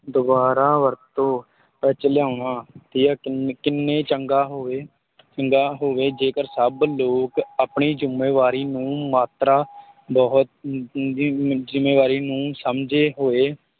ਦੁਬਾਰਾ ਵਰਤੋਂ ਵਿੱਚ ਲਿਆਉਣਾ ਤੇ ਕਿੰਨ ਕਿੰਨੇ ਚੰਗਾ ਹੋਵੇ ਚੰਗਾ ਹੋਵੇ, ਜੇਕਰ ਸਭ ਲੋਕ ਆਪਣੀ ਜ਼ਿੰਮੇਵਾਰੀ ਨੂੰ ਮਾਤਰਾ ਬਹੁਤ ਅਮ ਅਮ ਵੀ ਜ਼ਿੰਮੇਵਾਰੀ ਨੂੰ ਸਮਝਦੇ ਹੋਏ